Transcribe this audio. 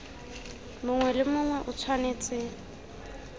mongwe le mongwe o tshwanetse